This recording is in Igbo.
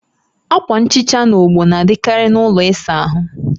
Akwa nhicha na ogbo na-adịkarị na ụlọ ịsa ahụ